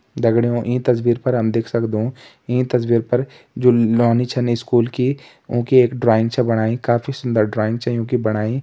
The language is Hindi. दगड़ियों ई तस्वीर पर हम देख सकदों ई तस्वीर पर जू नौनी छिन स्कूल की उंकी एक ड्राइंग छ बणाई काफी सुन्दर ड्राइंग छ योंकि बणाई।